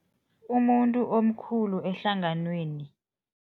Umuntu omkhulu ehlanganweni.